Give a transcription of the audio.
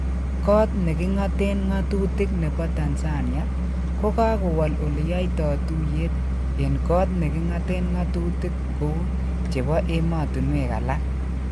Kot nekingaten ngotutik nebo Tanzania Kokakowol oleyoito tuiyet en kot nekingaten ngotutik kou chepo emotinwekalak